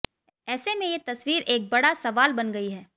ऐसे में ये तस्वीर एक बड़ा सवाल बन गई है